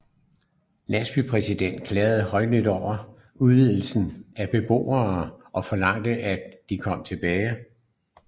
Landsbypræsterne klagede højlydt over uddrivelsen af beboerne og forlangte at de kom tilbage